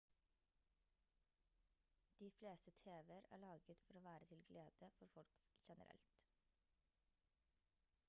de fleste tv-er er laget for å være til glede for folk generelt